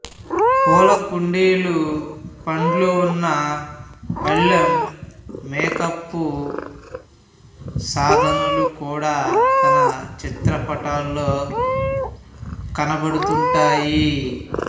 పూలకుండీలు పండ్లు ఉన్న పళ్ళెం మేకప్ సాధనాలు కూడ తన చిత్రపటాల్లో కనబడుతుంటాయి